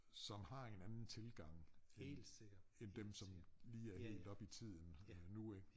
Som har en anden tilgang end end dem som lige er helt oppe i tiden øh nu ik